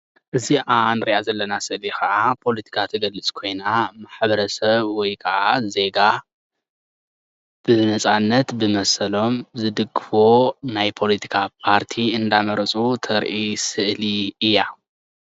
እዚአ ንርኣ ዘለና ስእሊ ከዓ ፖለቲካ እትገልፅ ኮይና ማሕበረሰብ ወይ ከዓ ዜጋ ብነፃነት ዝመሰሎም ዝድግፍዎ ናይ ፖለቲካ ፓርቲ እንዳመረፁ ተርኢ ስእሊ እያ፡፡